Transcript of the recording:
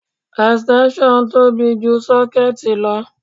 Extension tóbi ju sọ́kéẹ̀tì lọ.